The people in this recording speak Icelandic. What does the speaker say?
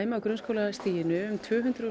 á grunnskólastiginu um tvö hundruð